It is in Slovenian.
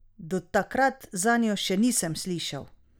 Do takrat zanjo še nisem slišal.